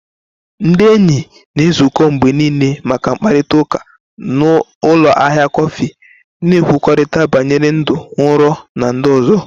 Ndị enyi na-ezukọ mgbe niile maka mkparịta ụka na ụlọ ahịa kọfị, na-ekwurịta banyere ndụ, nrọ, na ndị ọzọ.